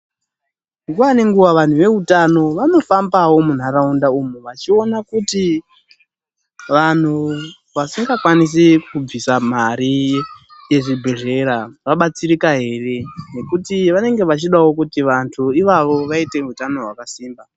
Nguwa ngenguwa vantu veutano vanohambawo muntaraunda umu vachiona kuti vanhtu vasingakwanisi kubvisa mari yezvibhedhlera vabatsirika ere. Ngekuti vanenge vechida kuti vantu ivavo vaitewo utano wakasimba.